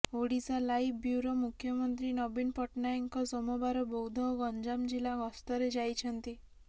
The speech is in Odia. ଓଡ଼ିଶାଲାଇଭ୍ ବ୍ୟୁରୋ ମୁଖ୍ୟମନ୍ତ୍ରୀ ନବୀନ ପଟ୍ଟନାୟକଙ୍କ ସୋମବାର ବୌଦ୍ଧ ଓ ଗଞ୍ଜାମ ଜିଲ୍ଲା ଗସ୍ତରେ ଯାଇଛନ୍ତି